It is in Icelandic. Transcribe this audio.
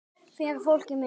Fyrir fólkið mitt.